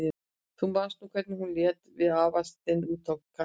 Þú manst nú hvernig hún lét við hann afa þinn úti á Kanarí.